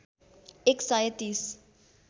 एक सय ३०